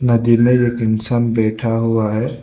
नदी में एक इंसान बैठा हुआ है।